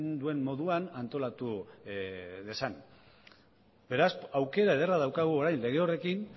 duen moduan antolatu dezan beraz aukera ederra daukagu orain lege horrekin